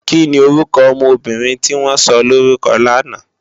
Kini órúkò òmò óbìrín tiwòn sòlórúkò làná?